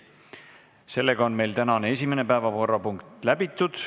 Sellega on tänane esimene päevakorrapunkt läbitud.